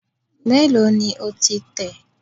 Mélòó ni o ti tẹ̀?